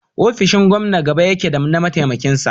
ofishin Gomna gaba yake da na mataimakin sa